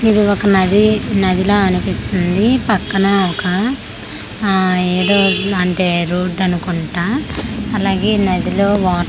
ఇది ఒక నది నదిలా అనిపిస్తుంది పక్కన ఒక ఆ ఎదో అంటే రోడ్డు అనుకుంటా అలాగే నదిలో వాటర్ తక్కువగ అనిపి--